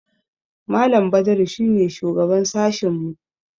Malam Badaru shi ne shugaban sashinmu.